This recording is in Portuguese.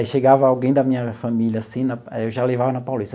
Aí chegava alguém da minha família, assim na, eu já levava na Paulista.